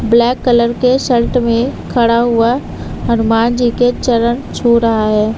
Black colour के shirt में खड़ा हुआ हनुमान जी के चरन छू रहा है।